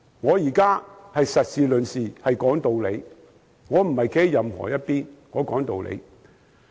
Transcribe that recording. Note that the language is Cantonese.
我現在是以事論事，講道理，不是站在任何一方。